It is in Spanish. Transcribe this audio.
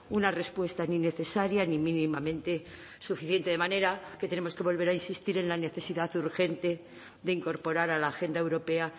una respuesta ni necesaria ni mínimamente suficiente de manera que tenemos que volver a insistir en la necesidad urgente de incorporar a la agenda europea